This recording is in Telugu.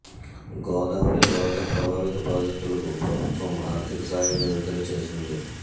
గోదావరి వరద ప్రభావిత బాధితులకు ప్రభుత్వం ఆర్థిక సాయం విడుదల చేసింది